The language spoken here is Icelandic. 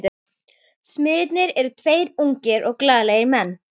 Smiðirnir eru tveir ungir og glaðlegir menn.